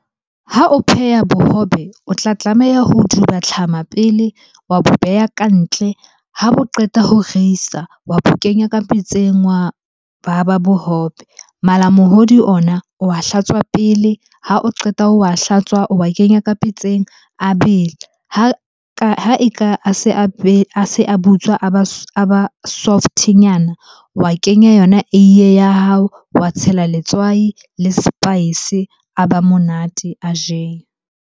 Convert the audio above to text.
Ha o pheha bohobe, o tla tlameha ho duba tlhama pele, wa bo beha ka ntle. Ha bo qeta ho reisa, wa bo kenya ka pitseng ba ba bohobe. Malamohodu ona o wa hlatswa pele, ha o qeta o wa hlatswa o wa kenya ka pitseng a bele. Ha eka a se a be, a se a butswa a ba a softnyana. Wa kenya yona eiye ya hao, wa tshela letswai le spice a ba monate, a jewa.